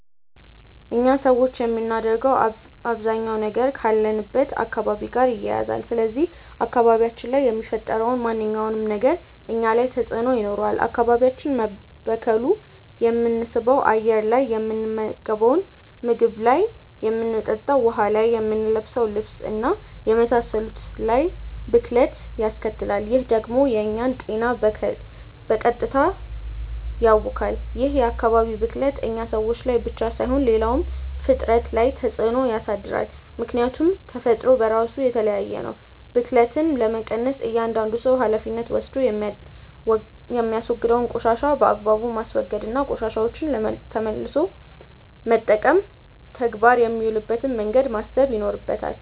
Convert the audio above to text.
እኛ ሰዎች የምናደርገው አባዛኛው ነገር ካለንበት አካባቢ ጋር ይያያዛል። ስለዚህ አካባቢያችን ላይ የሚፈጠረው ማንኛውም ነገር እኛ ላይ ተጽእኖ ይኖረዋል። አካባቢያችን መበከሉ የምንስበው አየር ላይ፣ የምንመገንው ምግብ ላይ፣ የምንጠጣው ውሀ ላይ፣ የምንለብሰው ልብስ እና የመሳሰሉት ላይ ብክለት ያስከትላል። ይህ ደግሞ የእኛን ጤና በቀጥታ ያውካል። ይህ የአካባቢ ብክለት እኛ ሰዎች ላይ ብቻ ሳይሆን ሌላውም ፍጥረት ላይ ተፅእኖ ያሳድራል። ምክያቱም ተፈጥሮ በራሱ የተያያዘ ነው። ብክለትን ለመቀነስ እያዳንዱ ሰው ሀላፊነት ወስዶ የሚያወግደውን ቆሻሻ በአግባቡ ማስወገድ እና ቆሻሻዎችን ለመልሶ መጠቀም ተግባር የሚውልበትን መንገድ ማሰብ ይኖርበታል።